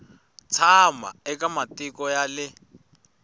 tshama eka matiko ya le